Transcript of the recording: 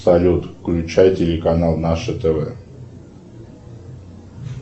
салют включай телеканал наше тв